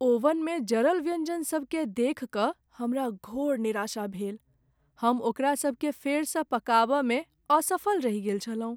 ओवनमे जरल व्यंजनसभकेँ देखि कऽ हमरा घोर निराशा भेल। हम ओकरासभकेँ फेरसँ पकाबयमे असफल रहि गेल छलहुँ।